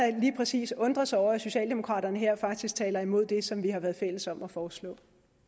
lige præcis undre sig over at socialdemokraterne her faktisk taler imod det som vi har været fælles om at foreslå